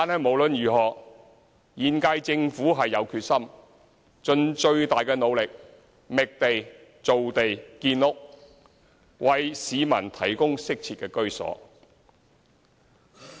無論如何，現屆政府有決心盡最大努力，覓地造地建屋，為市民提供適切的居所。